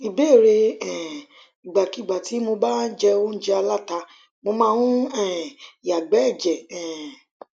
ìbéèrè um ìgbàkúùgbà tí mo bá jẹ óújẹ aláta mo máa ń um yàgbẹ ẹjẹ um